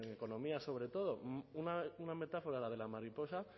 en economía sobre todo una metáfora la de la mariposa